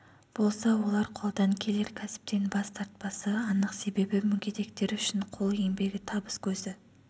болса олар қолдан келер кәсіптен бас тартпасы анық себебі мүгедектер үшін қол еңбегі табыс көзі